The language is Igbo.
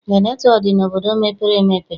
Eé, netịwọk dị n'obodo mepere emepe.